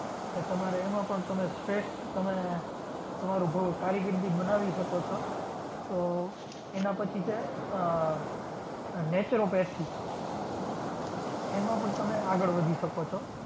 તો તમારે એમાં પણ તમે શ્રેષ્ઠ તમે તમારું બઉ કારકિર્દી બનાવી શકો છો. તો એના પછી છે આહ આહ naturopathic એમાં પણ તમે આગળ વધી શકો છો.